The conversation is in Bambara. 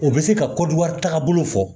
O bɛ se ka kɔdiwari tagabolo fɔ